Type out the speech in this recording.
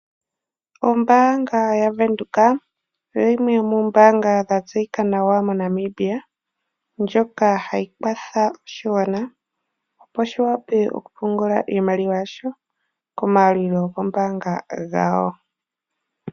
Ombaanga ya Venduka oyo yimwe yomoombanga dha tseyika nawa moNamibia, ndjoka hayi kwatha oshigwana opo shi wape okupungula iimaliwa yasho komayalulilo gombaanga gawo.